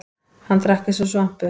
Hann drakk eins og svampur.